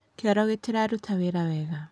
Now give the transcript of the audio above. Kĩoro gĩtiraruta wĩra wega